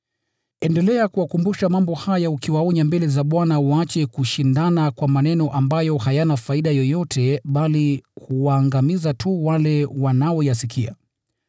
Endelea kuwakumbusha mambo haya ukiwaonya mbele za Bwana waache kushindana kwa maneno ambayo hayana faida yoyote bali huwaangamiza tu wale wanaoyasikia.